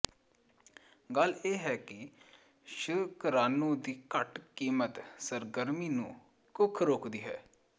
ਗੱਲ ਇਹ ਹੈ ਕਿ ਸ਼ੁਕਰਾਣੂ ਦੀ ਘੱਟ ਕੀਮਤ ਸਰਗਰਮੀ ਨੂੰ ਕੁੱਖ ਰੋਕਦੀ ਹੈ